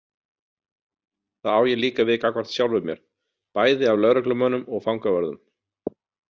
Þá á ég líka við gagnvart sjálfum mér, bæði af lögreglumönnum og fangavörðum.